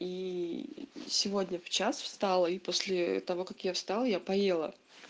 и сегодня в час встала и после того как я встал я поела